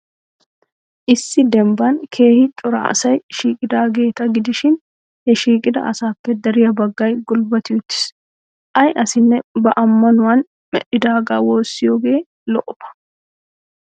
Issi dembban keehi cora asay shiiqidaageeta gidishin, he shiiqida asaappe dariya baggay gulbbati uttiis. Ay asinne ba ammanuwan medhdhaagaa woossiyoogee lo'oba.